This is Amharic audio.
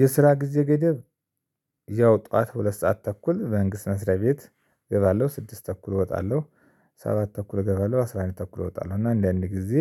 የስራ ጊዜ ገደብ። ያው ጠዋት ሁለት ሰዓት ተኩል በመንግስት መስሪያ ቤት እገባለሁ ስድስት ተኩል እወጣለሁ። ሰባት ተኩል እገባለሁ አስራ አንድ ተኩል እወጣለሁ እና አንዳንዴ ጊዜ።